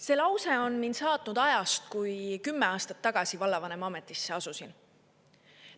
" See lause on mind saatnud ajast, kui ma kümme aastat tagasi vallavanema ametisse asusin.